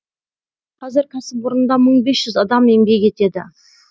қазір кәсіпорында мың бес жүз адам еңбек етеді